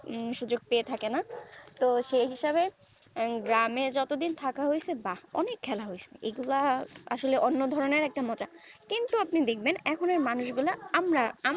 উম সুযোগ পেয়ে থাকে না তো সেই হিসাবে গ্রাম এ যত দিন থাকা হয়েছে বা অনেক খেলা হয়েছে এগুলা আসলে অন্য ধরণের মজা কিন্তু আপনি দেখবেন এখুন কার মানুষ গুলা আমরা